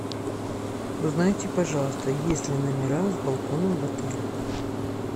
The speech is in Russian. узнайте пожалуйста есть ли номера с балконом в отеле